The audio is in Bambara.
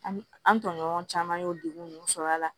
An an tɔɲɔgɔn caman y'o degun nunnu sɔrɔ a la